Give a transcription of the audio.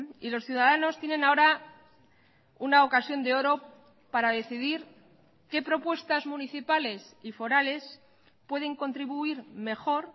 y los ciudadanos tienen ahora una ocasión de oro para decidir qué propuestas municipales y forales pueden contribuir mejor